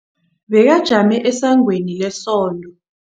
Bekajame esangweni lesonto.